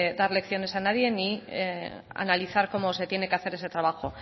dar lecciones a nadie ni analizar cómo se tiene que hacer ese trabajo